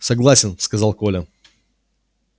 согласен сказал коля